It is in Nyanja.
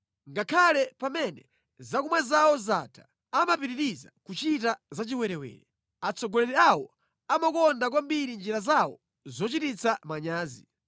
Ngakhale pamene zakumwa zawo zatha, amapitiriza kuchita zachiwerewere; atsogoleri awo amakonda kwambiri njira zawo zochititsa manyazi.